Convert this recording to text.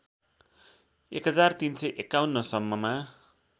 १३५१ सम्ममा